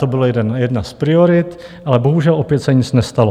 To byla jedna z priorit, ale bohužel opět se nic nestalo.